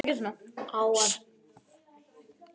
Á að banna heimamönnum að tala?